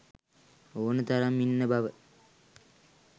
ඕන තරම් ඉන්න බව